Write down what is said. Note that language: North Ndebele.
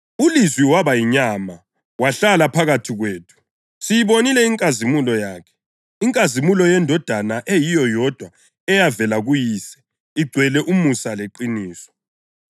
ULizwi waba yinyama, wahlala phakathi kwethu. Siyibonile inkazimulo yakhe; inkazimulo yeNdodana eyiyo yodwa, eyavela kuYise, igcwele umusa leqiniso.